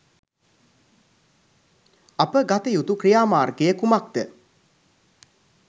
අප ගතයුතු ක්‍රියාමාර්ගය කුමක්ද?